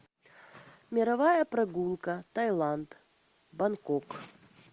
мировая прогулка таиланд бангкок